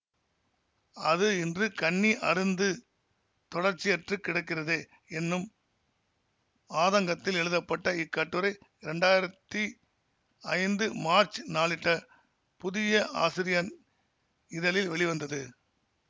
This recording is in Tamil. அது இன்று கண்ணி அறுந்து தொடர்ச்சியற்றுக் கிடக்கிறதே என்னும் ஆதங்கத்தில் எழுதப்பட்ட இக்கட்டுரை இரண்டு ஆயிரத்தி ஐந்து மார்ச் நாளிட்ட புதிய ஆசிரியன் இதழில் வெளிவந்தது